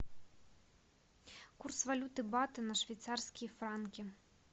курс валюты бата на швейцарские франки